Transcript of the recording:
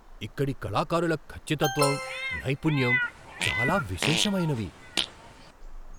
ఇక్కడి కళాకారుల ఖచ్చితత్వం, నైపుణ్యం చాలా విశేషమైనవి.